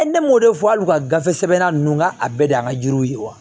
ne m'o de fɔ hali u ka gafe sɛbɛnna ninnu ka a bɛɛ de y'an ka jiriw ye wa